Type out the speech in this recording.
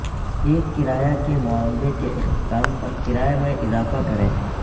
ایک کرایہ کے معاہدے کے اختتام پر کرائے میں اضافہ کریں